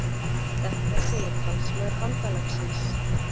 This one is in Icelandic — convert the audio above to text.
Þetta segir talsmaður bandalagsins